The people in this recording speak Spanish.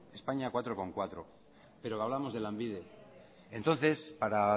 españa cuatro coma cuatro pero hablamos de lanbide entonces para